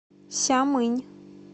сямынь